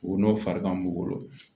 O n'o farikan b'u bolo